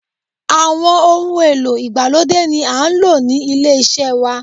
Àwọn ohun èlò ìgbàlódé ni à ń lò ní ilé iṣẹ́ wa.